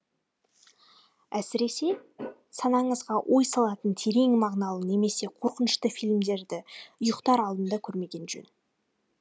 әсіресе санаңызға ой салатын терең мағыналы немесе қорқынышты фильмдерді ұйықтар алдында көрмеген жөн